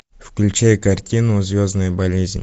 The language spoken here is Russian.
включай картину звездная болезнь